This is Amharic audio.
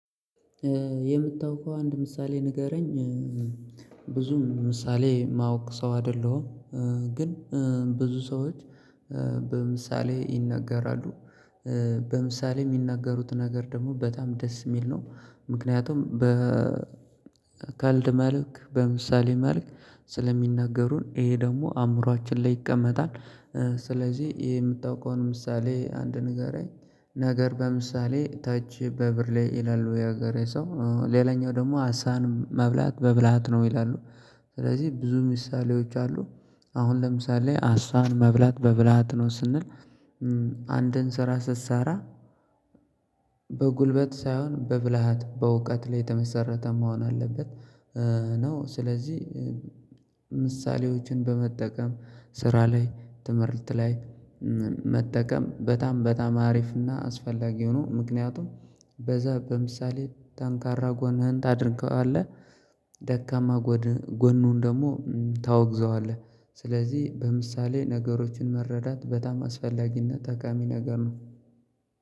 የምታውቀው አንድ ምሳሌ ንገረኝ? ብዙሚ ምሳሌ ማወቅ ሰው አይደለሁም። ግን ብዙ ሰዎች በምሳሌ ይናገራሉ። በምሳሌ የሚናገሩት ነገር ደግሞ በጣም ደስ የሚል ነው። ምክንያቱም በ ካቀልድ መልክ በምሳሌ መልክ ስለሚናገሩን ይሄ ደግሞ አእምሮአችን ላይ ይቀመጣል። ስለዚህ ይሄ የምታውቀውን ምሳሌ አንድ ንገረኝ? ነገር በምሳሌ ጠጅ በብርሌ ይላሉ የሀገሬ ሰው ነው ሌላኛው ደግሞ አሳን መብላት በብልሃት ነው ይላሉ። ስለዚህ ብዙ ምሳሌዎች አሉ። አሁን ለምሳሌ አስዋን መብላት በብልሃት ነው ስንል አንድን ስራ ስሰራ በጉልበት ሳይሆን በብልሃት በእውቀት ላይ የተመሰረተ መሆን አለበት። ነው ስለዚህ ምሳሌዎችን በመጠቀም ስራ ላይ ትምህርት ላይ መጠቀም በጣም በጣም አሪፍና አስፈላጊ ነው። ምክንያቱም በዛ በምሳሌ ጠንካራ ጎንህን ታደርገዋለህ ደካማ ጎኑን ደግሞ ታወግዘዋለህ። ስለዚህ በምሳሌ ነገሮችን መረዳት በጣም አስፈላጊና ጠቃሚ ነገር ነው።